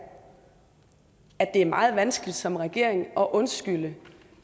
at det er meget vanskeligt som regering at undskylde